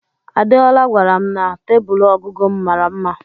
Adeola gwara m na tebụl ọgụgụ m mara mma.